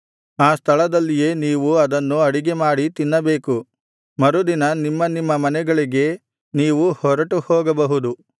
ಆ ಸ್ಥಳದಲ್ಲಿಯೇ ನೀವು ಅದನ್ನು ಅಡಿಗೆಮಾಡಿ ತಿನ್ನಬೇಕು ಮರುದಿನ ನಿಮ್ಮ ನಿಮ್ಮ ಮನೆಗಳಿಗೆ ನೀವು ಹೊರಟು ಹೋಗಬಹುದು